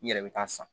I yɛrɛ bɛ taa san